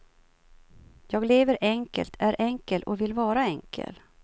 Jag lever enkelt, är enkel och vill vara enkel.